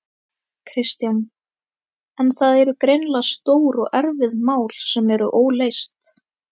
Kristján: En það eru greinilega stór og erfið mál sem eru óleyst?